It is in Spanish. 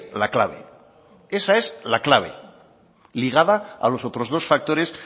la clave esa es la clave ligada a los otros dos factores